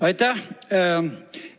Aitäh!